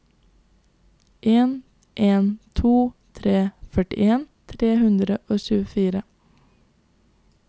en en to tre førtien tre hundre og tjuefire